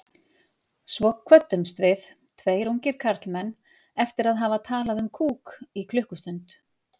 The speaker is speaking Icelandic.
Svo kvöddumst við, tveir ungir karlmenn, eftir að hafa talað um kúk í klukkustund.